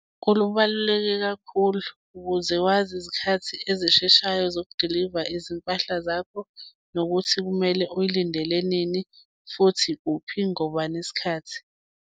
Kubaluleke kakhulu, ukuze wazi izikhathi ezisheshayo zokudiliva izimpahla zakho, nokuthi kumele uyilindele nini, futhi kuphi, ngobani isikhathi.